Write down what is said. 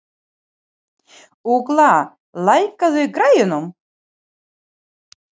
Ugla, lækkaðu í græjunum.